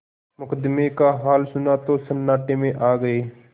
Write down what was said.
मुकदमे का हाल सुना तो सन्नाटे में आ गये